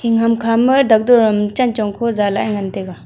e ham kha ma doctor am chen chong kho za lah ae ngan taega.